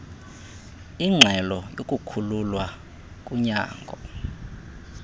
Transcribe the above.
inxelo yokukhululwa kunyango